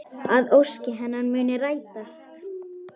Að ósk hennar muni rætast.